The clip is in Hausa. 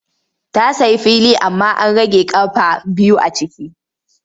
Ta sayi fili amma an rage ƙafa biyu a ciki.